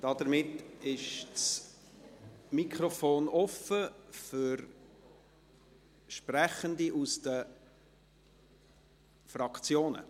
Damit ist das Mikrofon offen für Sprechende aus den Fraktionen.